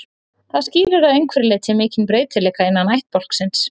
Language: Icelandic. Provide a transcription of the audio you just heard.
Það skýrir að einhverju leyti mikinn breytileika innan ættbálksins.